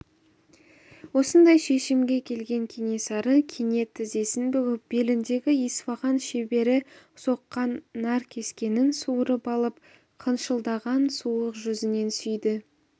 осындай шешімге келген кенесары кенет тізесін бүгіп беліндегі исфаған шебері соққан наркескенін суырып алып қылшылдаған суық жүзінен сүйді